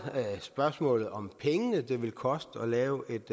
spørgsmålet om de penge det ville koste at lave et